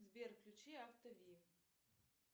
сбер включи авто ви